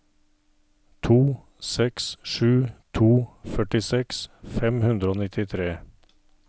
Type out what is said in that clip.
to seks sju to førtiseks fem hundre og nittitre